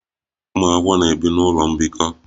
Ụmụ akwụkwọ na-ebi n'ụlọ mbikọ